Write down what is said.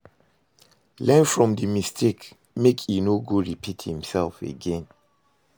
Learn from di mistake make e no go repeat imself again